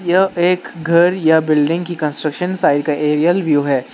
यह एक घर या बिल्डिंग की कंस्ट्रक्शन साइट का एरियल व्यू है।